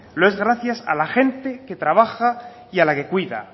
lo es gracias a la gente que trabaja y a la que cuida